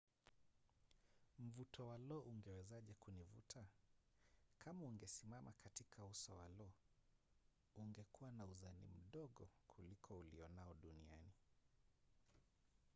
mvuto wa lo ungewezaje kunivuta? kama ungesimama katika uso wa lo ungekuwa na uzani mdogo kuliko ulionao duniani